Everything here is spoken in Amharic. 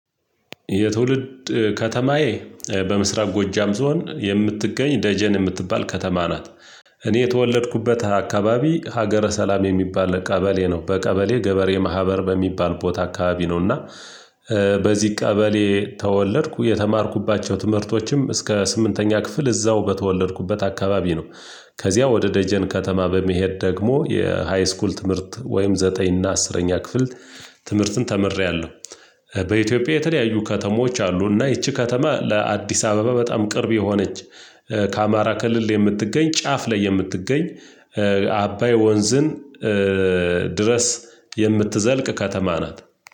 የትውልድ ከተማዬ በምስራቅ ጎጃም ዞን የምትገኝ ደጀን የምትባል ከተማ ናት። እኔ የተወለድኩበት አካባቢ ሀገረ ሰላም የሚባል ቀበሌ ነው በቀበሌ ገበሬ ማህበር በሚባል ቦታ አካባቢ ነውና። በዚህ ቀበሌ ተወለድኩ የተማርኩባቸው ትምህርቶችም እስከ ስምንተኛ ክፍል እዛው በተወለድኩበት አካባቢ ነው። ከዚያ ወደ ደጀን ከተማ በመሄድ ደግሞ የሃይስኩል ትምህርት ወይም ዘጠኝ እና አስረኛ ክፍል ትምህርትን ተምሬያለሁ። በኢትዮጵያ የተለያዩ ከተሞች አሉ እና ይቺ ከተማ ለአዲስ አበባ በጣም ቅርብ የሆነች ከአማራ ክልል የምትገኝ ጫፍ ላይ የምትገኝ አባይ ወንዝን ድረስ የምትዘልቅ ከተማ ናት።